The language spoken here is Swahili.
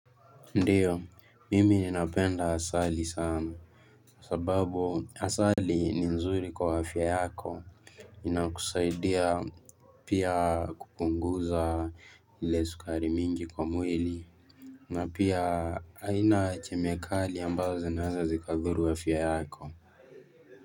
Ndiyo mimi ninapenda asali sana sababu asali ni nzuri kwa afya yako inakusaidia pia kupunguza ile sukari mingi kwa mwili na pia haina kemikali ambazo zinaweza zikazuru afya yako.